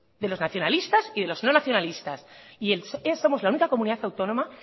de los nacionalistas y de los no nacionalistas y somos la única comunidad autónoma